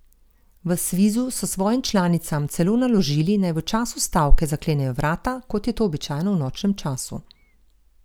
V Svizu so svojim članicam celo naložili naj v času stavke zaklenejo vrata, kot je to običajno v nočnem času.